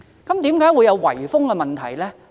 為何會出現圍封問題呢？